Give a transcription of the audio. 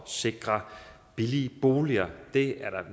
sikre billige boliger det er